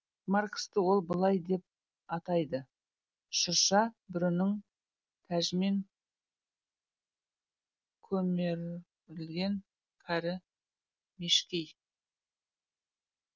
марксті ол былай деп атайды шырша бүрінің тәжімен көмерілген кәрі мешкей